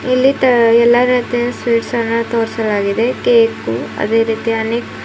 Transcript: ಇಲ್ಲಿ ತ ಎಲ್ಲ ರೀತಿಯ ಸ್ವಿಟ್ಸ್ ಅನ್ನು ತೋರಿಸಲಾಗಿದೆ ಕೇಕು ಅದೇ ರೀತಿಯ ಅನೇಕ್ --